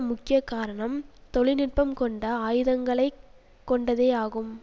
முக்கிய காரணம்தொழில்நுட்பம் கொண்ட ஆயுதங்களைக்கொண்டதேயாகும்